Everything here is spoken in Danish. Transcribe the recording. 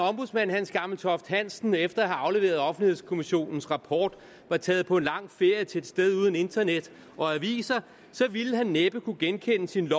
ombudsmand hans gammeltoft hansen efter at have afleveret offentlighedskommissionens rapport var taget på en lang ferie til et sted uden internet og aviser så ville han næppe kunne genkende sin